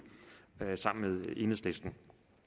sammen med enhedslisten